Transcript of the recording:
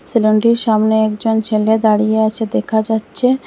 সেলুনটির সামনে একজন ছেলে দাঁড়িয়ে আছে দেখা যাচ্ছে।